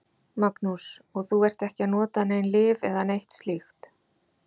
Magnús: Og þú ert ekki að nota nein lyf eða neitt slíkt?